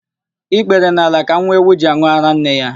Ikpere n'ala ka nwa ewu ji an̄ụ árá nne ya.